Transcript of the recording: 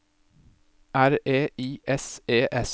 R E I S E S